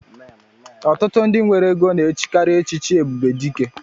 Ọtụtụ ndị nwere égo na-echikari echichi Ebubedike